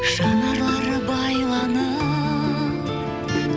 жанарлары байланып